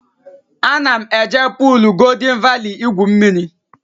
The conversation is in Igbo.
Ana m eje puul Goldịn Vali igwu mmiri